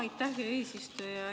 Aitäh, hea eesistuja!